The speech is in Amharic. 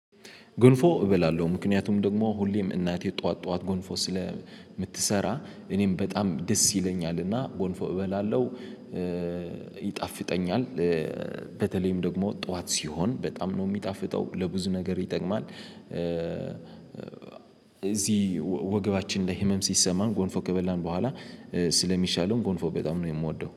ገንፎ እበላለሁ ምክንያቱም ደግሞ ሁሌም እናቴ ጠዋት ጠዋት ጎንፎ ስለምትሰራ እኔም በጣም ደስ ይለኛልና ገንፎ እበላለው። ይጣፍጠኛል። በተለይም ደግሞ ጠዋት ሲሆን በጣም ነው የሚጣፍጠው። ለብዙ ነገር ይጠቅማል እዚህ ወገባችን ላይ ህመም ሲሰማን ገንፎ ከበላን በኋላ ስለሚሻለው። ገንፎ በጣም ነው የምወደው